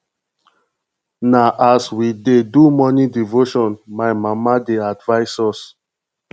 na as we dey do morning devotion my mama dey advise us